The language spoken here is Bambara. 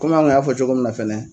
an kun y'a fɔ cogo min na fɛnɛ